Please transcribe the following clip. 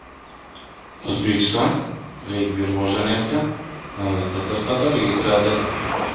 O‘zbekiston regbi rivojlanayotgan mamlakatlar qatoriga kiradi.